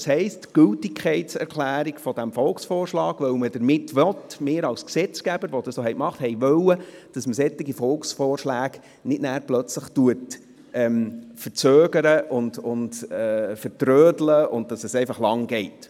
Das heisst, die Gültigkeitserklärung dieses Volksvorschlags ... Dies, weil wir als Gesetzgeber damit wollten, dass man solche Volksvorschläge nachher nicht plötzlich verzögert und vertrödelt, sodass es lange dauert.